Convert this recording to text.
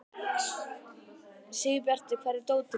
Sigurbjartur, hvar er dótið mitt?